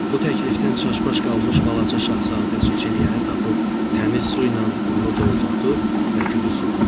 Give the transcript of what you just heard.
Bu təklifdən çaşbaş qalmış balaca şahzadə su çilyanını tapıb, təmiz su ilə onu doldurdu və gülü suladı.